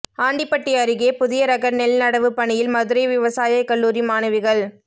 ஆண்டிபட்டி அருகே புதிய ரக நெல் நடவு பணியில் மதுரை விவசாய கல்லூரி மாணவிகள்